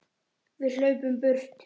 Við hlaupum í burtu.